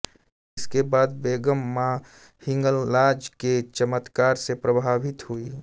इसके बाद बेगम माँ हिंगलाज के चमत्कार से प्रभावित हुई